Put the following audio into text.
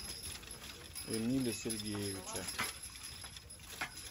эмиля сергеевича